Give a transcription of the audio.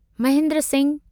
Mahendra Singh